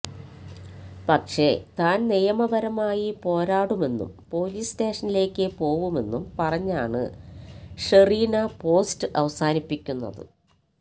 പക്ഷേ താൻ നിയപരമായി പോരാടുമെന്നും പൊലീസ് സ്റ്റേഷനിലേക്ക് പോവുമെന്നും പറഞ്ഞാണ് ഷെറീന പോസ്റ്റ് അവസാനിപ്പിക്കുന്നത്